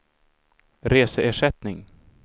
reseersättning